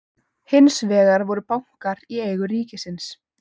Hins vegar voru bankar í eigu ríkisins.